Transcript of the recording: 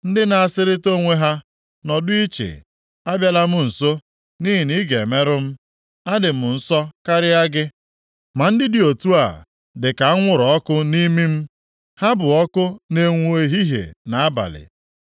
ndị na-asịrịta onwe ha, ‘Nọdụ iche, Abịala m nso, nʼihi na ị ga-emerụ m, adị m nsọ karịa gị!’ Ma ndị dị otu a dịka anwụrụ ọkụ nʼimi m. Ha bụ ọkụ na-enwu ehihie na nʼabalị.